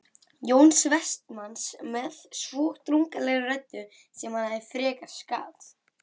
Jóns Vestmanns með svo drungalegri röddu sem hann frekast gat